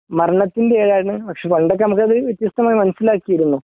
മരണത്തിൻ്റെ ഏഴായിരുന്നു പണ്ടൊക്കെ നമുക്ക് അത് വ്യത്യസ്തമായി മനസ്സിലാക്കിയിരുന്നു